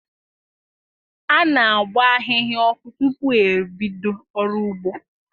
A na-agba ahịhịa ọkụ tupu e bido ọrụ ugbo.